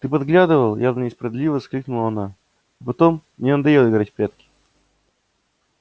ты подглядывал явно несправедливо воскликнула она и потом мне надоело играть в прятки